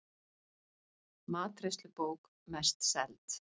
Matreiðslubók mest seld